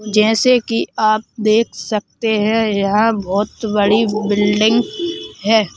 जैसे कि आप देख सकते हैं यहां बहुत बड़ी बिल्डिंग है।